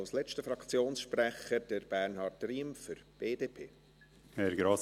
Als letzter Fraktionssprecher Bernhard Riem für die BDP.